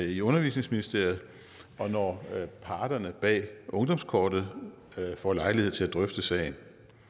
i undervisningsministeriet og når parterne bag ungdomskortet får lejlighed til at drøfte sagen